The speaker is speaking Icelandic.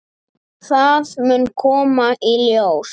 Það mun koma í ljós.